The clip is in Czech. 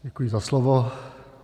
Děkuji za slovo.